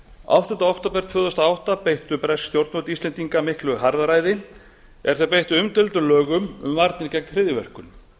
áttunda október tvö þúsund og átta beittu bresk stjórnvöld íslendinga miklu harðræði er þau beittu umdeildum lögum um varnir gegn hryðjuverkum